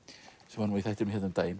sem var í þættinum hérna um daginn